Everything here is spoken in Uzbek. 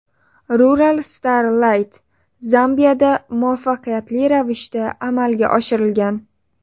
RuralStar Lite Zambiyada muvaffaqiyatli ravishda amalga oshirilgan.